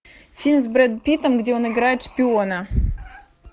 фильм с брэдом питтом где он играет шпиона